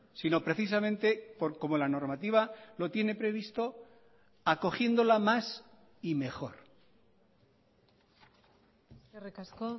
sino precisamente como la normativa lo tiene previsto acogiéndola más y mejor eskerrik asko